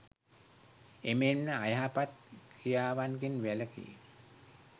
එමෙන්ම අයහපත් ක්‍රියාවන්ගෙන් වැළකී